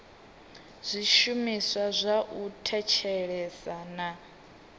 zwishumiswa zwa u thetshelesa na